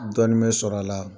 Dɔɔnni mɛ sɔrɔ a la.